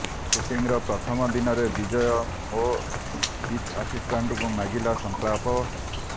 ସୁଟିଂର ପ୍ରଥମ ଦିନରେ ବିଜୟ ମୋ ଚିଫ୍ ଆସିଷ୍ଟାଣ୍ଟକୁ ମାଗିଲା ସଂଳାପ